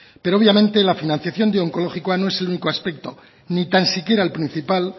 pero obviamente la financiación de onkologikoa no es el único aspecto ni tan siquiera el principal